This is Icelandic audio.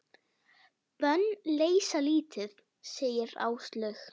Bönn leysa lítið, segir Áslaug.